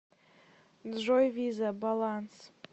джой виза баланс